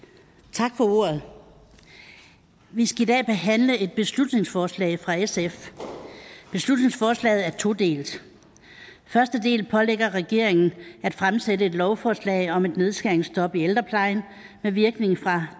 tak for ordet vi skal i dag behandle et beslutningsforslag fra sf beslutningsforslaget er todelt første del pålægger regeringen at fremsætte et lovforslag om et nedskæringsstop i ældreplejen med virkning fra